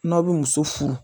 N'aw bɛ muso furu